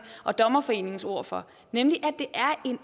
og dommerforeningens ord for er en